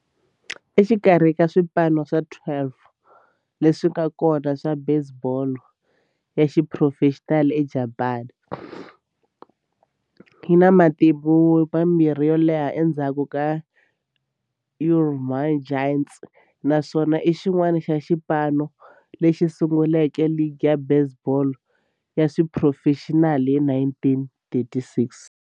Exikarhi ka swipano swa 12 leswi nga kona swa baseball ya xiphurofexinali eJapani, yi na matimu ya vumbirhi yo leha endzhaku ka Yomiuri Giants, naswona i xin'wana xa swipano leswi sunguleke ligi ya baseball ya xiphurofexinali hi 1936.